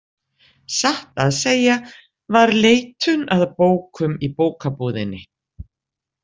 Satt að segja var leitun að bókum í bókabúðinni.